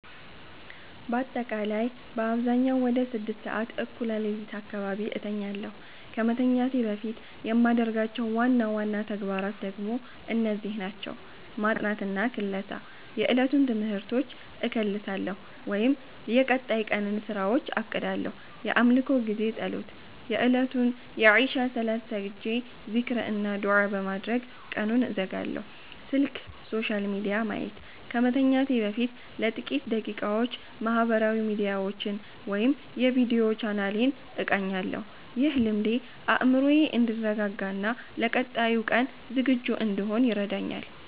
ባጠቃላይ በአብዛኛው ወደ 6:00 ሰዓት (እኩለ ሌሊት) አካባቢ እተኛለሁ። ከመተኛቴ በፊት የማደርጋቸው ዋና ዋና ተግባራት ደግሞ እነዚህ ናቸው፦ ማጥናትና ክለሳ፦ የዕለቱን ትምህርቶች እከልሳለሁ ወይም የቀጣይ ቀንን ስራዎች አቅዳለሁ። የአምልኮ ጊዜ (ፀሎት)፦ የእለቱን የኢሻእ ሰላት ሰግጄ፣ ዚክር እና ዱዓ በማድረግ ቀኑን እዘጋለሁ። ስልክ/ሶሻል ሚዲያ ማየት፦ ከመተኛቴ በፊት ለጥቂት ደቂቃዎች ማህበራዊ ሚዲያዎችን ወይም የቪዲዮ ቻናሌን እቃኛለሁ። ይህ ልምዴ አእምሮዬ እንዲረጋጋና ለቀጣዩ ቀን ዝግጁ እንድሆን ይረዳኛል።